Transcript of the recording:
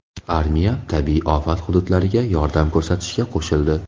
Armiya tabiiy ofat hududlariga yordam ko‘rsatishga qo‘shildi.